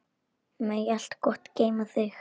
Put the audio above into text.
Megi allt gott geyma þig.